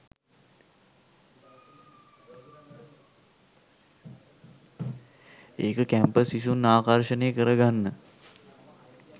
ඒක කැම්පස් සිසුන් ආකර්ෂණය කර ගන්න